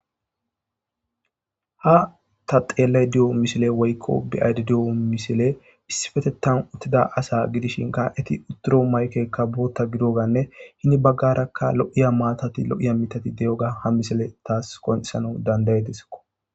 Ha ta xelayda diyo misiley woyko beyayda diyo misiley issipetethan uttida ASA gidishinka eti shigidomaygeka guta gidogamne heni . garaka lo'iya maatay lo'iya mitay diyoga ha misiley tas qoncisana danda'idesko.